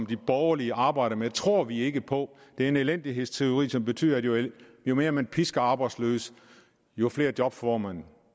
de borgerlige arbejder med tror vi ikke på det er en elendighedsteori som betyder at jo mere man pisker arbejdsløse jo flere job får man